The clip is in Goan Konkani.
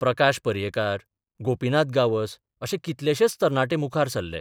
प्रकाश पर्यैकार, गोपिनाथ गांवस अशे कितलेशेच तरणाटे मुखार सरले.